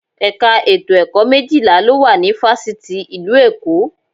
Ẹ̀ka ètò ẹ̀kọ́ méjìlá ló wà ní Fáṣítì ìlú Èkó